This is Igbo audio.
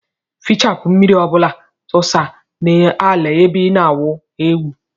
Fichapu mmiri ọbula tusa na ala ebe ina awụ aeụ.